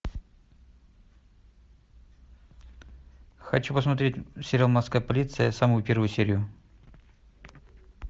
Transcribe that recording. хочу посмотреть сериал морская полиция самую первую серию